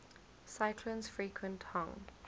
cyclones frequent hong